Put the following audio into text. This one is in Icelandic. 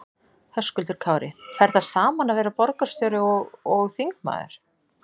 Höskuldur Kári: Fer það saman að vera borgarstjóri og, og þingmaður?